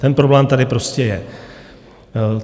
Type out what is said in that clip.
Ten problém tady prostě je.